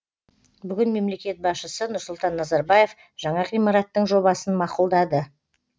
бүгін мемлекет басшысы нұрсұлтан назарбаев жаңа ғимараттың жобасын мақұлдады